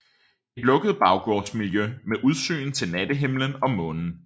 Et lukket baggårdsmiljø med udsyn til nattehimlen og månen